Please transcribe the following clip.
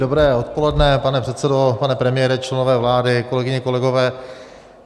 Dobré odpoledne, pane předsedo, pane premiére, členové vlády, kolegyně, kolegové.